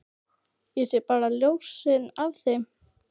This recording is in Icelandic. Ég sé bara ljósin af þeim.